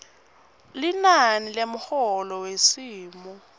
linani lemholo wesimo